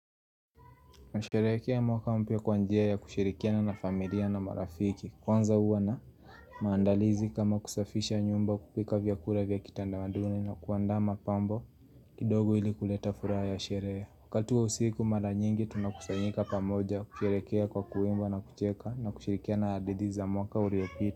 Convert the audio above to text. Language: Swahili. Nasherekea mwaka mpya kwanjia ya kushirikia na na familia na marafiki Kwanza uwa na maandalizi kama kusafisha nyumba kupika vyakura vyakitanda maduni na kuandama pambo kidogo ili kuleta furaha ya sherehe Wakati wa usiku mara nyingi tunakusanyika pamoja kushirikia kwa kuimba na kucheka na kushirikia na hadithi za mwaka uliopita.